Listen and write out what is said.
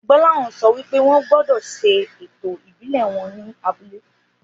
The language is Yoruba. Gbóláhàn sọ wípé wọn gbódò ṣe ètò ìbílè wón ní abúlé